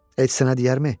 Heç sənə diyərmi?